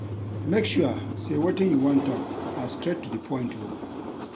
Make sure sey wetin you wan tok na straight to di point o.